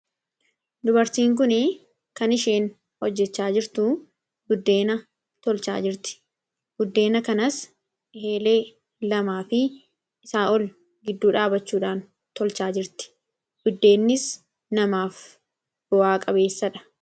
Dubarsiin kun kan isheen hojjechaa jirtu buddeena tolchaa jirti. Buddeena kanaas eelee lamaa fi isaa ol gidduu dhaabachuudhaan tolchaa jirti, buddeennis namaaf bu'aa qabeessadha.